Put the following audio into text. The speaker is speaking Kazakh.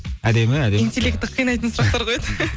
әдемі әдемі интелекті қинайтын сұрақтар қояды